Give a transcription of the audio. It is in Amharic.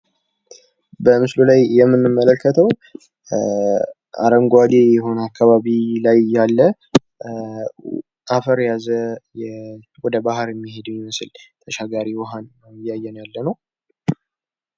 በምስሉ ላይ የምንመለከተው አረንጓዴ የሆነ አከባቢ ላይ ያለ አፈር የያዘ ወደ ባህር የሚሄድ የሚመስል ተሻጋሪ ውሃን ነው እያየን ያለነው።